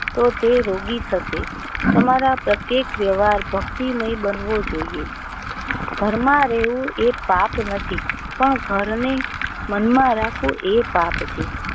તો તે રોગી થશે. તમારા પ્રત્યેક વ્યવહાર ભક્તિ મય બન વો જોઇએ. ઘરમાં રહે વું એ પાપ નથી. ઘર ને મન માં રાખો એ પાપ છે.